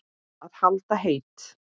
Að halda heit